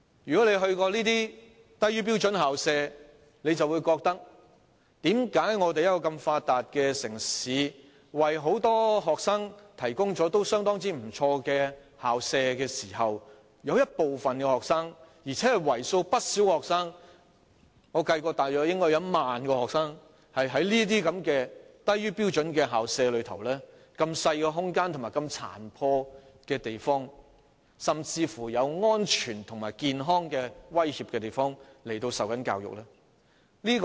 如果大家曾前往這些低於標準的校舍，便會覺得疑惑，為何香港這個如此發達的城市，為很多學生提供了相當不俗的校舍，但有部分而且是為數不少的學生——我曾計算應該大約有1萬名學生——竟在低於標準、細小、殘破不堪，甚至有安全及健康威脅的校舍接受教育呢？